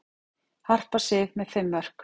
Harpa Sif með fimm mörk